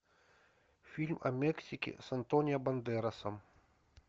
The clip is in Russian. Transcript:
фильм о мексике с антонио бандерасом